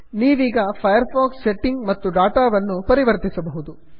ನೀವೀಗ Firefox setting ಮತ್ತು data ವನ್ನು ಪರಿವರ್ತಿಸಬಹುದು